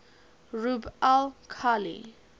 rub al khali